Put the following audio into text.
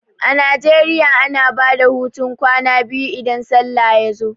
A Najeriya ana bada hutun kwana biyu idan sallah ya zo